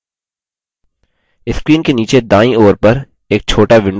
screen के नीचे दायीं ओर पर एक छोटा window खुलता है